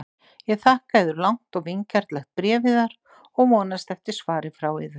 Ég þakka yður langt og vingjarnlegt bréf yðar og vonast eftir svari frá yður.